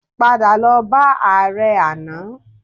Padà lọ bá ààrẹ àná